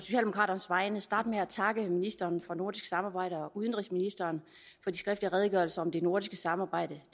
jeg starte med at takke ministeren for nordisk samarbejde og udenrigsministeren for de skriftlige redegørelser om det nordiske samarbejde